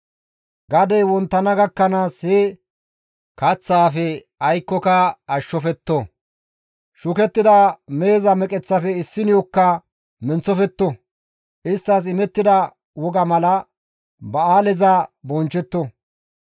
Gadey wonttana gakkanaas he kaththaafe aykkoka ashshofetto; shukettida meheza meqeththafe issineyokka menththofetto; isttas imettida wogaa mala ba7aaleza bonchchetto.